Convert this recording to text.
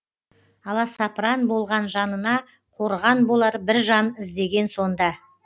аласапыран болған жанына қорған болар бір жан іздеген сонда